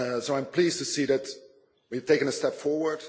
I am pleased to see that we have taken a step forward